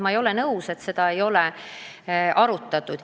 Ma ei ole nõus, et seda ei ole arutatud.